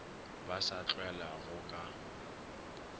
ba sa a tlwaelago ka